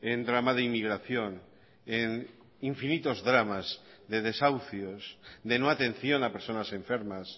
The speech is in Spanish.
en drama de inmigración en infinitos dramas de desahucios de no atención a personas enfermas